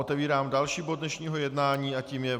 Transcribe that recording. Otevírám další bod dnešního jednání a tím je